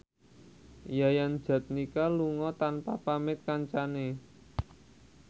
Yayan Jatnika lunga tanpa pamit kancane